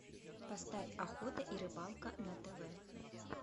поставь охота и рыбалка на тв